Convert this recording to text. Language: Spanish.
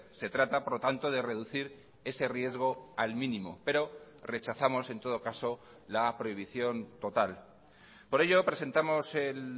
se trata por lo tanto de reducir ese riesgo al mínimo pero rechazamos en todo caso la prohibición total por ello presentamos el